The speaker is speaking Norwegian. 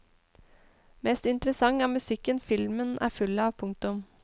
Mest interessant er musikken filmen er full av. punktum